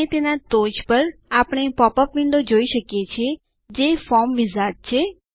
અને તેના ટોચ પર આપણે પોપઅપ વિન્ડો જોઈ શકીએ છીએ જે ફોર્મ વિઝાર્ડ છે